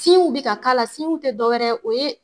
w bɛ ka k'a la w tɛ dɔ wɛrɛ o ye